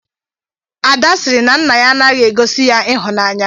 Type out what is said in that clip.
Ada said her father doesn't really show her love.